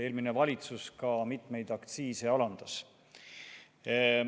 Eelmine valitsus mitmeid aktsiise alandas.